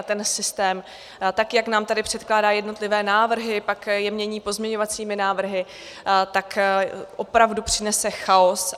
A ten systém, tak jak nám tady předkládá jednotlivé návrhy, pak je mění pozměňovacími návrhy, tak opravdu přinese chaos.